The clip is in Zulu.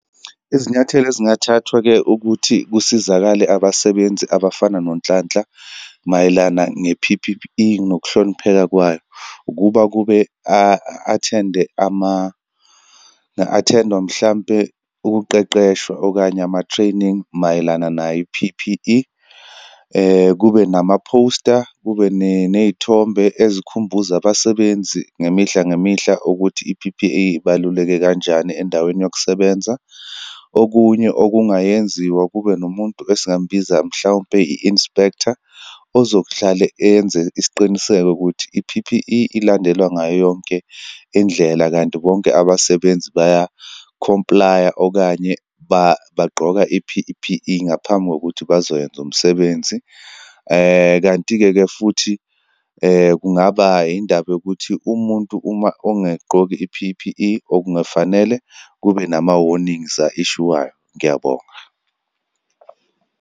Izinyathelo ezingathathwa-ke ukuthi kusizakale abasebenzi abafana noNhlanhla mayelana nge-P_P_E, nokuhlonipheka kwayo, ukuba kube a-attende ama, nga-attend-wa mhlampe, ukuqeqeshwa okanye ama-training mayelana nayo i-P_P_E. Kube nama-poster, kube neyithombe ezikhumbuza abasebenzi ngemihla ngemihla ukuthi i-P_P_E ibaluleke kanjani endaweni yokusebenza. Okunye okungayenziwa, kube nomuntu esingambiza mhlawumpe, i-inspector ozokuhlale enze isiqiniseko ukuthi i-P_P_E ilandelwa ngayo yonke indlela, kanti bonke abasebenzi baya-comply-a, okanye bagqoka i-P_P_E ngaphambi kokuthi bazoyenza umsebenzi. Kanti-ke ke futhi kungaba indaba yokuthi umuntu uma ongayigqoki i-P_P_E, okungafanele kube nama-warnings a-issue-wayo. Ngiyabonga.